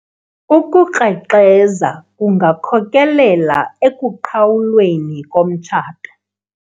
ukukrexeza kungakhokelela ekuqhawulweni komtshato